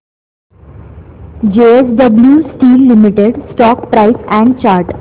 JSW steel limited stock price and chart